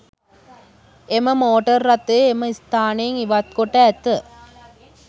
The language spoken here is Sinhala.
එම මෝටර් රථය එම ස්ථානයෙන් ඉවත්කොට ඇත